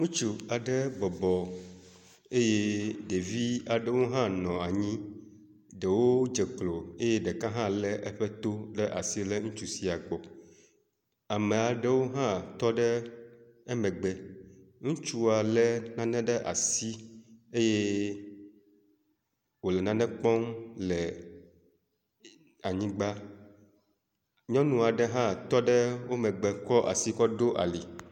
Ŋutsu aɖe bɔbɔ eye ɖevia ɖewo hã nɔ anyi, ɖewo dze klo eye ɖeka hã le eƒe to ɖe asi le ŋutsu sia gbɔ, ame aɖewo hã tɔ ɖe eƒe megbe, ŋutsua le nane ɖe asi eye wole nane kpɔm le anyigba nyɔnu aɖe ha tɔ ɖe emegbe kɔS asi kɔ ɖo ali